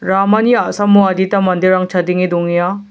ramani a·samo adita manderang chadenge dongenga.